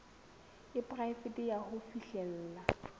e poraefete ya ho fihlella